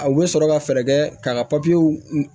A bɛ sɔrɔ ka fɛɛrɛ kɛ k'a ka